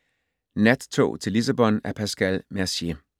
Nattog til Lissabon af Pascal Mercier